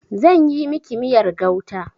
Zan yi miki miyar gauta.